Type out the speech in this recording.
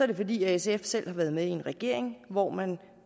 det fordi sf selv har været med i en regering hvor man